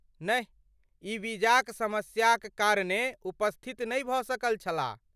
नहि, ई वीजाक समस्या कारणे उपस्थित नहि भऽ सकल छलाह।